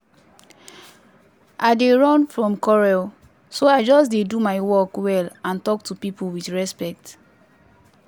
i dey run from quarrel so i just dey do my work well and talk to people with respect.